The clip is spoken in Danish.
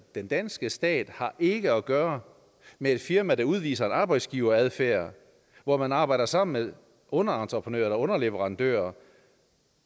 den danske stat har ikke at gøre med et firma der udviser en arbejdsgiveradfærd hvor man arbejder sammen med underentreprenører eller underleverandører